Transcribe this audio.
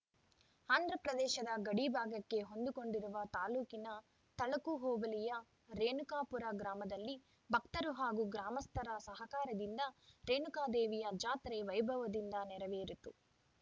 ಆಂಧ್ರಪ್ರದೇಶದ ಗಡಿಭಾಗಕ್ಕೆ ಹೊಂದಿಕೊಂಡಿರುವ ತಾಲೂಕಿನ ತಳಕು ಹೋಬಳಿಯ ರೇಣುಕಾಪುರ ಗ್ರಾಮದಲ್ಲಿ ಭಕ್ತರು ಹಾಗೂ ಗ್ರಾಮಸ್ಥರ ಸಹಕಾರದಿಂದ ರೇಣುಕಾದೇವಿಯ ಜಾತ್ರೆ ವೈಭವದಿಂದ ನೆರವೇರಿತು